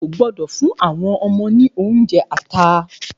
A kò gbọ́dọ̀ fún àwọn ọmọ ní oúnjẹ ata.